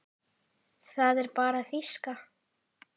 Það er bara þýska.